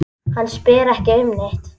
Hann spyr ekki um neitt.